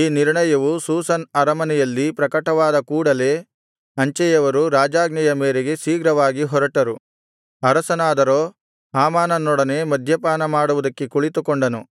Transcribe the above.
ಈ ನಿರ್ಣಯವು ಶೂಷನ್ ಅರಮನೆಯಲ್ಲಿ ಪ್ರಕಟವಾದ ಕೂಡಲೇ ಅಂಚೆಯವರು ರಾಜಾಜ್ಞೆಯ ಮೇರೆಗೆ ಶೀಘ್ರವಾಗಿ ಹೊರಟರು ಅರಸನಾದರೋ ಹಾಮಾನನನೊಡನೆ ಮದ್ಯಪಾನ ಮಾಡುವುದಕ್ಕೆ ಕುಳಿತುಕೊಂಡನು